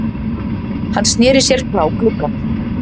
Hann sneri sér frá glugganum.